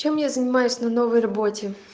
чем я занимаюсь на новой работе